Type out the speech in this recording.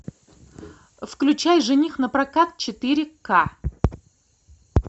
включай жених напрокат четыре ка